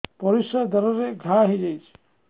ପରିଶ୍ରା ଦ୍ୱାର ରେ ଘା ହେଇଯାଇଛି